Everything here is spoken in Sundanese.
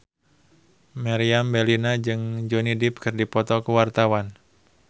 Meriam Bellina jeung Johnny Depp keur dipoto ku wartawan